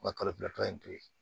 N ka to ye